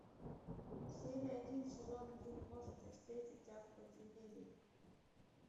серия один сезон один может я встречу тебя в подземелье